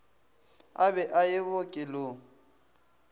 a be a ye bookelong